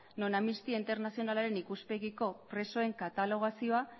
non amnistia internazionalaren ikuspegiko presoen katalogazioa